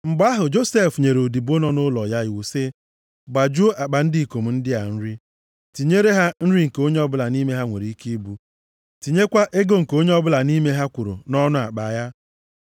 Mgbe ahụ Josef nyere odibo nọ nʼụlọ ya iwu sị, “Gbajuo akpa ndị ikom ndị a nri. Tinyere ha nri nke onye ọbụla nʼime ha nwere ike ibu, tinyekwa ego nke onye ọbụla nʼime ha kwụrụ nʼọnụ akpa ya.